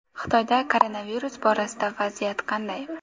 Xitoyda koronavirus borasida vaziyat qanday?